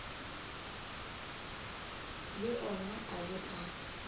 le ona a be a